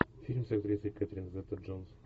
фильм с актрисой кэтрин зета джонс